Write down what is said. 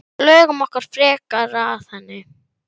sagði hann einu sinni reiður.